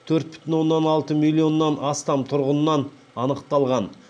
төрт бүтін оннан алты миллионнан астам тұрғынынан анықталған